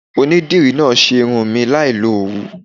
Onídìrí náà ṣe irun mi láì lo Òwú.